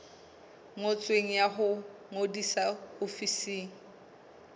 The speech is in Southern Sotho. ngotsweng ya ho ngodisa ofising